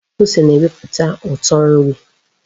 Ose na-eweputa uto nri.